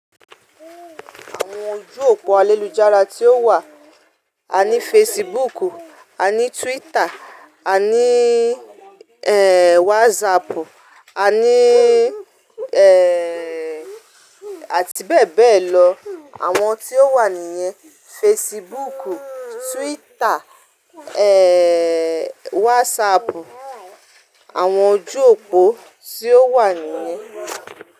Àwọn ojú òpó ayélujàra tí ó wà, àní Facebook, àní Twitter, àní eh WhatsApp, àní eh àti bẹ́ẹ̀ bẹ́ẹ̀ lọ. Àwọn tí ó wà nìyẹn Facebook, Twitter, eh WhatsApp. Àwọn ojú òpó tí ó wà nìyẹn.